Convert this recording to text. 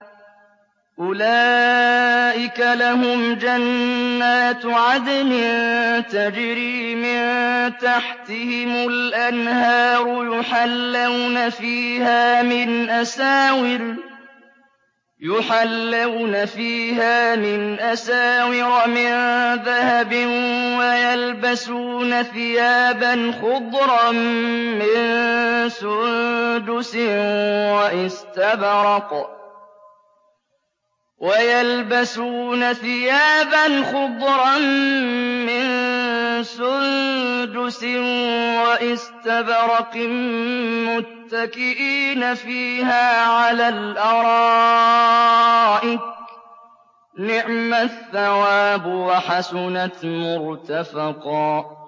أُولَٰئِكَ لَهُمْ جَنَّاتُ عَدْنٍ تَجْرِي مِن تَحْتِهِمُ الْأَنْهَارُ يُحَلَّوْنَ فِيهَا مِنْ أَسَاوِرَ مِن ذَهَبٍ وَيَلْبَسُونَ ثِيَابًا خُضْرًا مِّن سُندُسٍ وَإِسْتَبْرَقٍ مُّتَّكِئِينَ فِيهَا عَلَى الْأَرَائِكِ ۚ نِعْمَ الثَّوَابُ وَحَسُنَتْ مُرْتَفَقًا